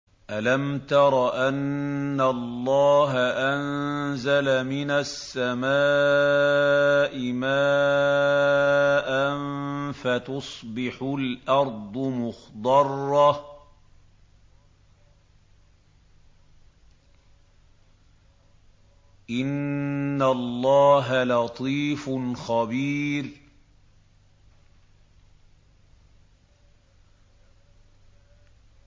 أَلَمْ تَرَ أَنَّ اللَّهَ أَنزَلَ مِنَ السَّمَاءِ مَاءً فَتُصْبِحُ الْأَرْضُ مُخْضَرَّةً ۗ إِنَّ اللَّهَ لَطِيفٌ خَبِيرٌ